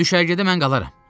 Düşərgədə mən qalaram.